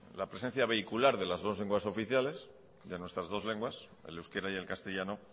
la presencia vehicular de las dos lenguas oficiales de nuestras dos lenguas el euskera y el castellano